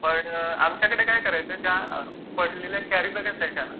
पण आमच्याकडे काय करायचे ज्या पडलेल्या कॅरी बॅग्स असायच्या ना,